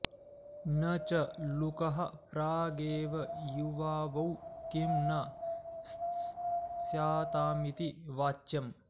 न च लुकः प्रागेव युवावौ किं न स्यातामिति वाच्यम्